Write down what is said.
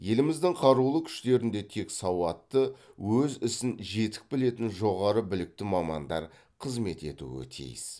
еліміздің қарулы күштерінде тек сауатты өз ісін жетік білетін жоғары білікті мамандар қызмет етуі тиіс